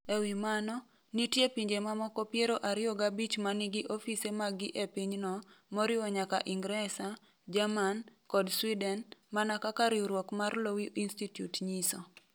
E wi mano, nitie pinje mamoko piero ariyo gabich ma nigi ofise maggi e pinyno, moriwo nyaka Ingresa, Jerman, kod Sweden, mana kaka riwruok mar Lowy Institute nyiso.